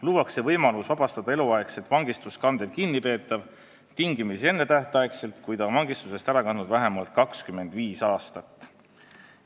Luuakse võimalus vabastada eluaegset vangistust kandev kinnipeetav tingimisi ennetähtaegselt, kui ta on vangistusest ära kandnud vähemalt 25 aastat.